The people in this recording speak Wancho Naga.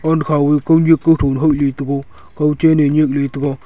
aant khaw e kawnek kawtho le le tega kawchen e nek le tega.